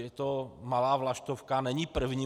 Je to malá vlaštovka, není první.